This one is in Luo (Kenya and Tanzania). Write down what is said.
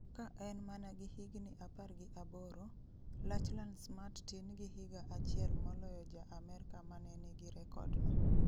Ka en mana gi higni apar gi aboro, Lachlan Smart tin gi higa achiel moloyo ja Amerka mane nigi rekodno.